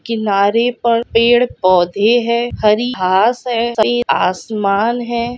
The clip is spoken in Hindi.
किनारे पर पेड़ पौधे है। हरी घास है। आसमान है।